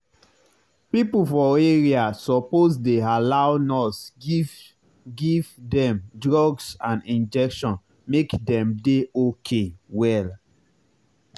people for area suppose dey allow nurse give give dem drugs and injection make dem dey okay well.